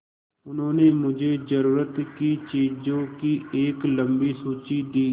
उन्होंने मुझे ज़रूरत की चीज़ों की एक लम्बी सूची दी